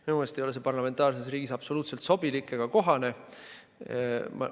Minu meelest ei ole see parlamentaarses riigis absoluutselt sobilik ega kohane.